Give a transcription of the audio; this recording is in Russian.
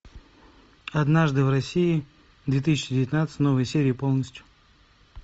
однажды в россии две тысячи девятнадцать новые серии полностью